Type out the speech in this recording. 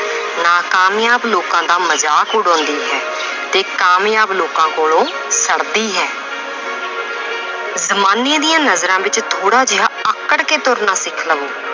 ਨਾਕਾਮਯਾਬ ਲੋਕਾਂ ਦਾ ਮਜ਼ਾਕ ਉਡਾਉਂਦੀ ਹੈ ਤੇ ਕਾਮਯਾਬ ਲੋਕਾਂ ਕੋਲੋਂ ਛੜਦੀ ਹੈ ਜ਼ਮਾਨੇ ਦੀਆਂ ਨਜ਼ਰਾਂ ਵਿੱਚ ਥੋੜ੍ਹਾ ਜਿਹਾ ਆਕੜ ਕੇ ਤੁਰਨਾ ਸਿੱਖ ਲਵੋ